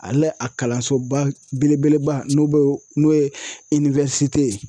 Ale a kalansoba belebeleba n'o bɛ n'o ye ye.